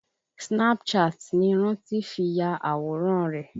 Snapchat ni Rántí fi ya àwòrán rẹ̀